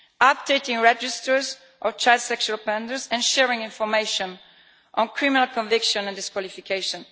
Updating registers of child sexual offenders and sharing information on criminal convictions and disqualifications.